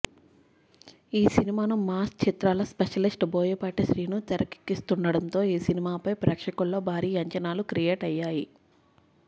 ఈ సినిమాను మాస్ చిత్రాల స్పెషలిస్ట్ బోయపాటి శ్రీను తెరకెక్కిస్తుండటంతో ఈ సినిమాపై ప్రేక్షకుల్లో భారీ అంచనాలు క్రియేట్ అయ్యాయి